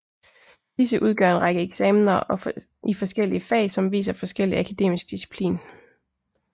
Disse udgør en række eksamener i forskellige fag som viser forskellig akademisk disciplin